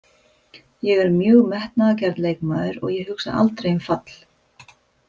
Ég er mjög metnaðargjarn leikmaður og ég hugsa aldrei um fall.